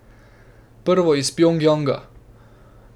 Prvo iz Pjongjanga.